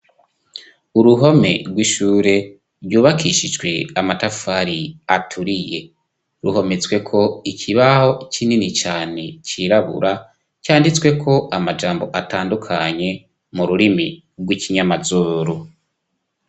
uruhome rw'ishure ryubakishijwe amatafari aturiye ruhometswe ko ikibaho kinini cane cirabura cyanditswe k' amajambo atandukanye mu rurimi rw'ikinyamazoru